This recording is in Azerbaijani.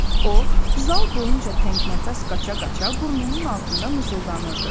O zal boyunca təngnəfəs qaça-qaça burnunun altında mızıldanırdı.